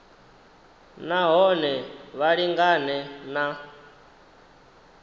na hone vha lingane na